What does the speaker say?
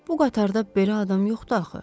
Bu qatarda belə adam yoxdu axı.